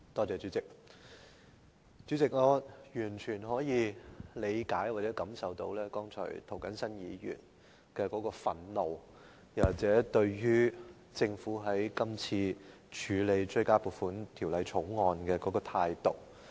主席，我完全可以理解及感受涂謹申議員剛才的憤怒，這也源於政府今次處理《追加撥款條例草案》的態度。